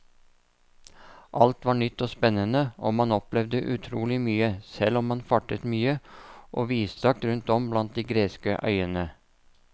Alt var nytt og spennende og man opplevde utrolig mye, selv om man fartet mye og vidstrakt rundt om blant de greske øyene.